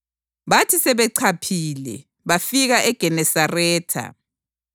Bathi sebechaphile, bafikela eGenesaretha.